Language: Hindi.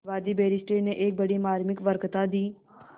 वादी बैरिस्टर ने एक बड़ी मार्मिक वक्तृता दी